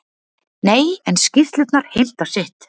Nei, en skýrslurnar heimta sitt.